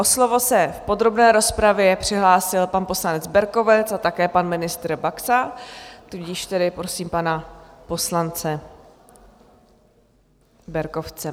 O slovo se v podrobné rozpravě přihlásil pan poslanec Berkovec a také pan ministr Baxa, tudíž tedy prosím pana poslance Berkovce.